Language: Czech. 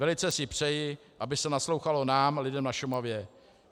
Velice si přeji, aby se naslouchalo nám, lidem na Šumavě.